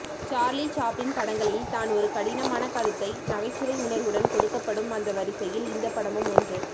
Charlie Chaplin படங்களில் தான் ஒரு கடினமான கருத்தை நகைச்சுவை உணர்வுடன் கொடுக்கப்படும் அந்த வரிசையில் இந்த படமும் ஒன்று